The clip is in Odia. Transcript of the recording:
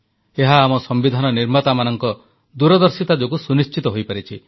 ଏହା ଆମ ସମ୍ବିଧାନ ନିର୍ମାତାମାନଙ୍କ ଦୂରଦର୍ଶିତା ଯୋଗୁଁ ସୁନିଶ୍ଚିତ ହୋଇପାରିଛି